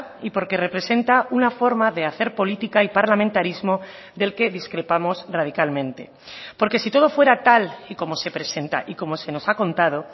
y porque representa una forma de hacer política y parlamentarismo del que discrepamos radicalmente porque si todo fuera tal y como se presenta y como se nos ha contado